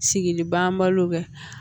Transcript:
Sigi banbalo bɛ